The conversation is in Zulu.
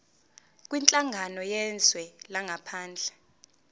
kwinhlangano yezwe langaphandle